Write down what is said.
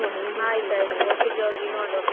ಆಯ್ತು ಒಟ್ಟಿಗೆ ಹೋಗಿ ನೋಡುವ.